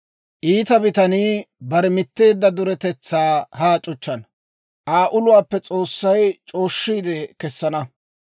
Iita bitanii bare mitteedda duretetsaa haa c'uchchana; Aa uluwaappe S'oossay c'ooshshiide kessana.